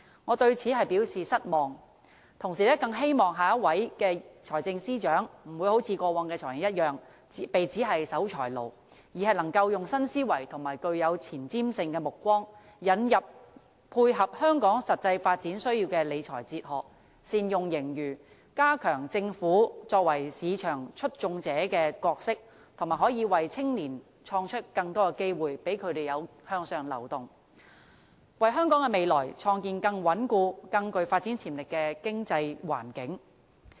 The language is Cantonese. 我對此表示失望，同時更希望下一任財政司司長不會好像過去的"財爺"一樣，被指是守財奴，而是能夠以新思維和具有前瞻性的目光，引入配合香港實際發展需要的理財哲學，善用盈餘，加強政府作為市場促進者的角色，以及為青年創造更多的機會，讓他們可以向上流動，為香港的未來創建更穩固、更具發展潛力的經濟環境。